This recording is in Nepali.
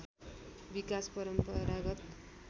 विकास परम्परागत